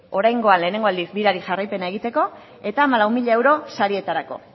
oraingoan lehenengo aldiz birari jarraipena egiteko eta hamalau mila euro sarietarako